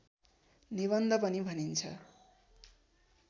निबन्ध पनि भनिन्छ